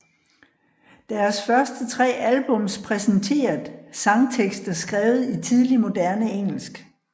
Deres første tre albums præsenteret sangtekster skrevet i tidlig moderne engelsk